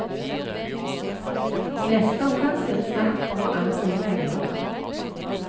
I neste omgang blir det snakk om å anbringe penger.